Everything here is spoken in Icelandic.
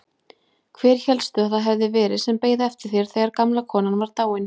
Hver hélstu að það hefði verið sem beið eftir þér þegar gamla konan var dáin?